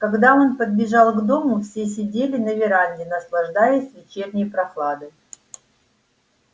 когда он подбежал к дому все сидели на веранде наслаждаясь вечерней прохладой